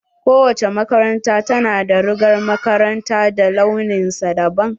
Kowace makaranta ta na da rigar makaranta da launin sa dabam.